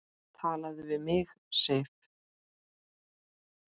TALAÐU VIÐ MIG, SIF!